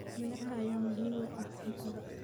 Beeraha ayaa muhiim u ah cuntada.